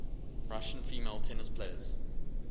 russian female tennis players